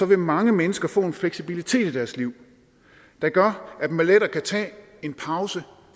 vil mange mennesker få en fleksibilitet i deres liv der gør at man lettere kan tage en pause